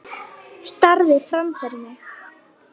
Starði fram fyrir mig.